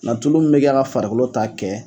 Nka tulu min bɛ kɛ ka farikolo ta kɛ